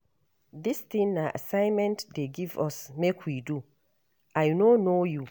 Dis thing na assignment dey give us make we do. I no know you.